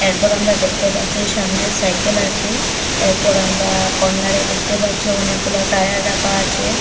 এরপর আমরা দেখতে পারছি সামনে সাইকেল আছে এরপর আমরা কর্নারে দেখতে পারছি অনেকগুলো টায়ার রাকা আছে।